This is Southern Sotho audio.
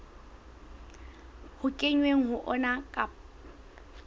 ho kenweng ho ona ka